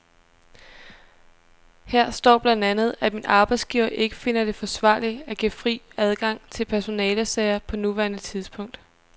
Her står blandt andet, at min arbejdsgiver ikke finder det forsvarligt at give fri adgang til personalesager på nuværende tidspunkt.